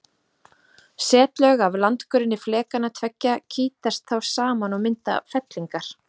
Setlög af landgrunni flekanna tveggja kýtast þá saman og mynda fellingar.